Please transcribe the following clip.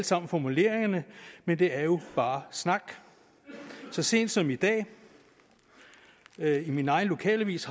sammen formuleringerne men det er jo bare snak så sent som i dag har jeg i min egen lokalavis